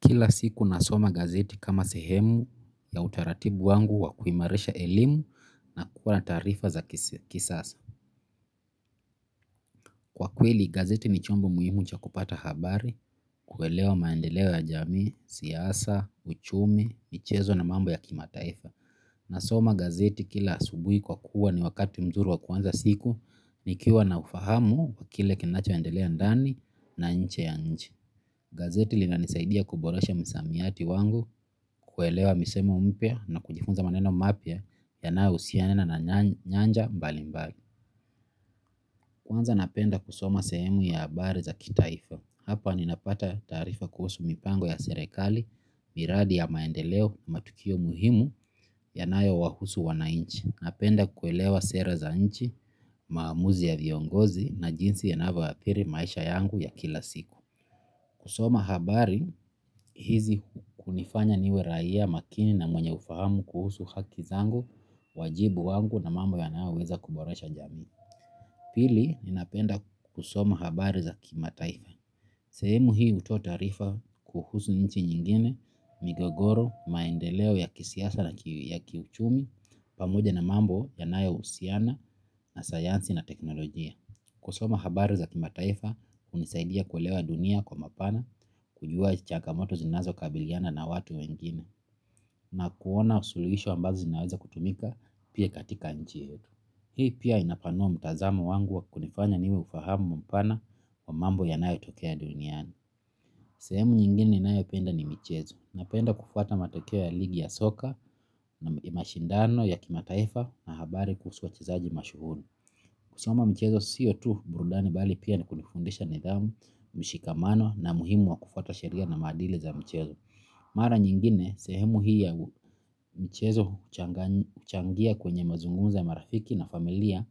Kila siku nasoma gazeti kama sehemu ya utaratibu wangu wa kuimalisha elimu na kuwa na taarifa za kisasa. Kwa kweli, gazeti ni chombo muhimu cha kupata habari, kuelewa maendeleo ya jamii, siasa, uchumi, michezo na mambo ya kimataifa. Nasoma gazeti kila asubuhi kwa kuwa ni wakati mzuri wa kuanza siku nikiwa na ufahamu wa kile kinacho endelea ndani na inje ya nchi. Gazeti lina nisaidia kuboresha msamiati wangu kuelewa misemo mpya na kujifunza maneno mapya yanayo husiana na nyanja mbalimbali. Kwanza napenda kusoma sehemu ya habari za kitaifa. Hapa ninapata taarifa kuhusu mipango ya serekali, miradi ya maendeleo, matukio muhimu yanayo wahusu wanainchi. Napenda kuelewa sera za nchi, maamuzi ya viongozi na jinsi yanavyo adhili maisha yangu ya kila siku. Kusoma habari hizi kunifanya niwe raia makini na mwenye ufahamu kuhusu haki zangu, wajibu wangu na mambo ya nayoweza kuboresha jamii. Pili, ninapenda kusoma habari za kimataifa. Sehemu hii hutoa taarifa kuhusu nchi nyingine, migogoro, maendeleo ya kisiasa na kiuchumi, pamoja na mambo yanayo husiana na sayansi na teknolojia. Kusoma habari za kimataifa hunisaidia kuelewa dunia kwa mapana, kujua changamoto zinazo kabiliana na watu wengine na kuona suluhisho ambazo zinaweza kutumika pia katika nchi yetu. Hii pia inapanua mtazamo wangu wa kunifanya niwe ufahamu mpana wa mambo yanayo tokea duniani. Sehemu nyingine ninayo penda ni michezo na penda kufuata matokeo ya ligi ya soka, mashindano ya kimataifa na habari kuhusu wachezaji mashuhuri. Kusoma mchezo sio tu burudani bali pia ni kunifundisha nidhamu, mshikamano na muhimu wa kufuata sheria na maadili za mchezo. Mara nyingine, sehemu hii ya michezo huchangia kwenye mazungumzo ya marafiki na familia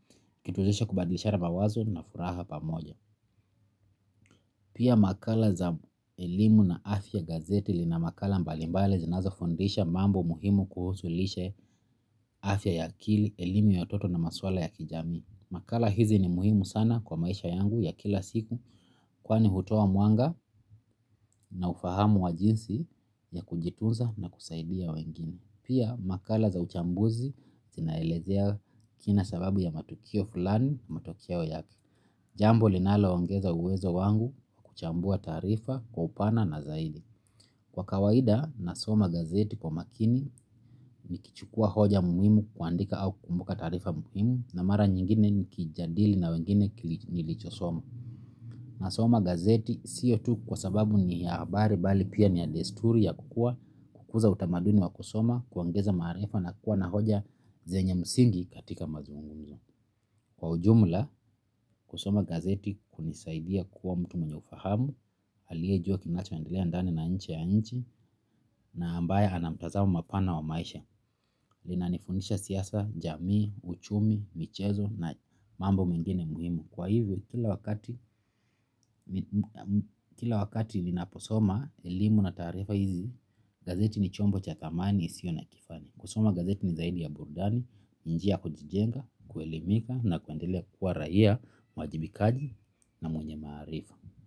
ikituwezesha kubadilishara mawazo na furaha pamoja. Pia makala za elimu na afya, gazeti lina makala mbalimbali zinazo fundisha mambo muhimu kuhusu lishe afya ya akili, elimu ya watoto na maswala ya kijamii. Makala hizi ni muhimu sana kwa maisha yangu ya kila siku kwani hutoa mwanga na ufahamu wa jinsi ya kujituza na kusaidia wengine. Pia makala za uchambuzi zinaelezea kina sababu ya matukio fulani matokeo yake. Jambo linalo ongeza uwezo wangu wa kuchambua taarifa kwa upana na zaidi. Kwa kawaida na soma gazeti kwa makini nikichukua hoja muhimu kuandika au kukumbuka taarifa muhimu na mara nyingine nikijadili na wengine nilichosoma. Nasoma gazeti sio tu kwa sababu ni ya habari bali pia ni ya desturi ya kukuwa, kukuza utamaduni wakusoma, kuongeza maarifa na kukuwa na hoja zenye msingi katika mazungumzo. Kwa ujumla, kusoma gazeti hunisaidia kuwa mtu mwenye ufahamu, aliye jua kinacho endelea ndani na inje ya nchi na ambaye anamtazamo mpana wa maisha, lina nifundisha siasa, jamii, uchumi, michezo na mambo mengine muhimu. Kwa hivyo kila wakati ninapo soma elimu na taarifa hizi, gazeti ni chombo cha dhamani isio na kifani kusoma gazeti ni zaidi ya burudani ni njia ya kujijenga, kuelimika na kuendelea kuwa raia mwajibikaji na mwenye maarifa.